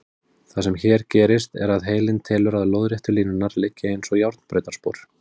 Það sem hér gerist er að heilinn telur að lóðréttu línurnar liggi eins og járnbrautarspor.